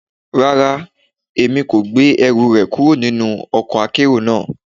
Rara, Emi ko gbe ẹru rẹ kuro ninu ọkọ akero naa